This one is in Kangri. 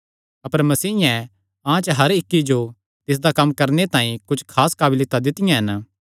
अपर मसीयें अहां च हर इक्की जो तिसदा कम्म करणे तांई कुच्छ खास काबलियतां दित्तियां हन